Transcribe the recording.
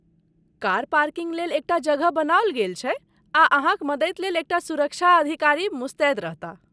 Car parking लेल एकटा जगह बनाओल गेल छै आ अहाँक मदति लेल एकटा सुरक्षा अधिकारी मुस्तैद रहताह।